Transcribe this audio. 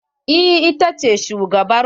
Eh ita ce shugabar mu.